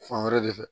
Fan wɛrɛ de fɛ